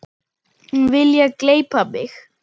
Vilja gleypa mig.